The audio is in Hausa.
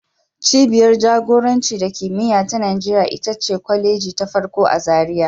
Cibiyar jagoranci da kimiyya ta Najeriya ita ce kwaleji ta farko a Zariya